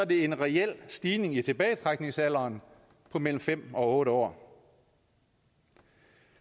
en reel stigning i tilbagetrækningsalderen på mellem fem og otte år